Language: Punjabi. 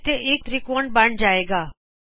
ਹੁਣ ਇੱਥੇ ਇਕ ਤ੍ਰੀਕੋਣ ਬਣ ਜਾਵੇਗਾ